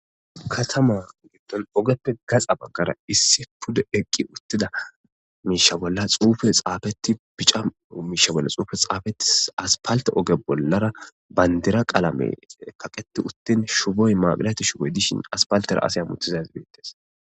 katama gitton ogeppe gaxa baggara issi pudo eqqi uttida miisha bolla xuufe xaafeti pica miisha bolla xuufe xaafetis aspalte oge bollara bayndira qaalame kaqeti uttin shuboy maaqilati shuboy dishin aspaltera asay mutizas beettes